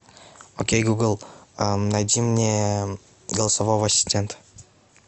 окей гугл найди мне голосового ассистента